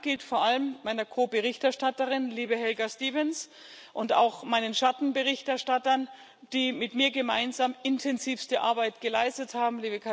Mein Dank gilt vor allem meiner Ko Berichterstatterin, liebe Helga Stevens, und auch meinen Schattenberichterstattern, die mit mir gemeinsam intensivste Arbeit geleistet haben.